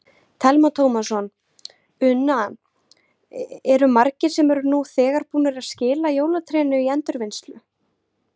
Telma Tómasson: Una, eru margir sem eru nú þegar búnir að skila jólatrénu í endurvinnslu?